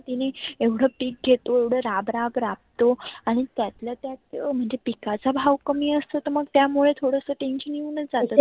तीने एवढ पेक घेतो एवढ राब राब राबतो आणि त्यातल्या त्यात पिकाचा भाव कमी असतो तर मग त्या मुळे थोडसं tension येऊन जातना.